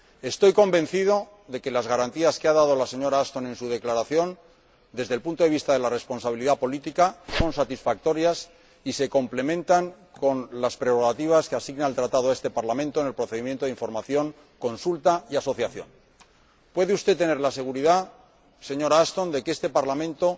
Estoy convencido de que las garantías que ha dado la señora Ashton en su declaración, desde el punto de vista de la responsabilidad política, son satisfactorias y se complementan con las prerrogativas que asigna el Tratado a este Parlamento en el procedimiento de información, consulta y asociación. Puede usted tener la seguridad, señora Ashton, de que este Parlamento